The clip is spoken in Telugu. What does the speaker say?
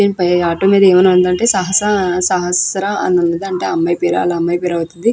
దీనిపై ఆటో మీద ఏమైనా ఉందంటే సహస సహస్రా అని ఉంన్నదంట వాళ్ళ అమ్మాయి పేరు. వాళ్ళ అమ్మాయి పేరు అవుతది.